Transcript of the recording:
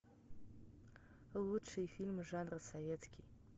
лучшие фильмы жанра советский